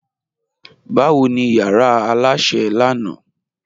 Bawo ni yara alásẹ̀ lánà?